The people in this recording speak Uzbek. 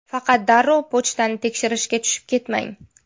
Faqat darrov pochtani tekshirishga tushib ketmang.